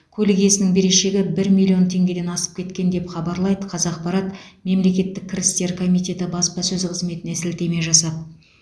көлік иесінің берешегі бір миллион теңгеден асып кеткен деп хабарлайды қазақпарат мемлекеттік кірістер комитеті баспасөз қызметіне сілтеме жасап